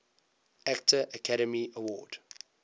actor academy award